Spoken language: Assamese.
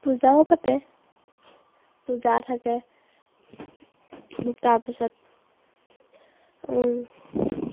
পূজাও পাতে। পূজা থাকে। তাৰপিছত উহ